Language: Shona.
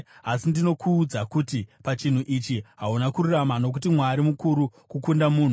“Asi ndinokuudza kuti pachinhu ichi hauna kururama, nokuti Mwari mukuru kukunda munhu.